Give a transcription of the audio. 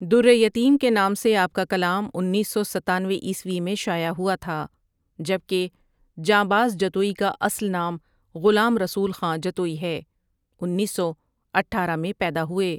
دُرِّیتیم کے نام سے آپ کا کلام انیس سو ستانوے عیسوی میں شائع ہوا تھا جبکہ جانباز جتوئی کا اصل نام غلام رسول خاں جتوئی ہے ۱۹۱۸ء میں پیدا ہوئے ۔